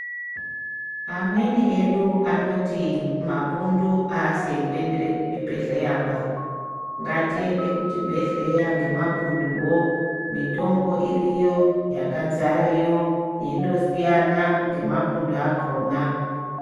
Amweni edu anoti mapundu aasi ekuendere kuchibhedhleya ba, ngatiende kuchibhedhleya ngemapunduwo mitombo iriyo yakadzareyo yeindosiyana ngemapundu akona.